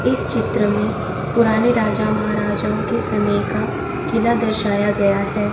इस चित्र में पुराने राजा महाराजाओं के समय का किला दर्शाया गया है।